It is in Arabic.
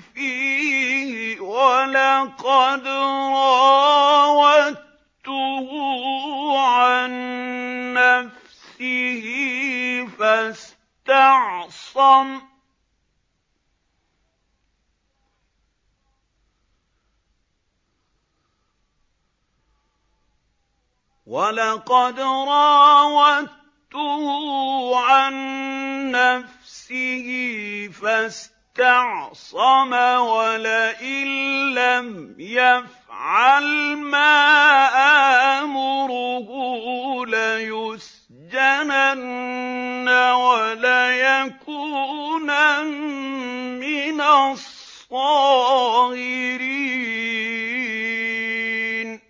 فِيهِ ۖ وَلَقَدْ رَاوَدتُّهُ عَن نَّفْسِهِ فَاسْتَعْصَمَ ۖ وَلَئِن لَّمْ يَفْعَلْ مَا آمُرُهُ لَيُسْجَنَنَّ وَلَيَكُونًا مِّنَ الصَّاغِرِينَ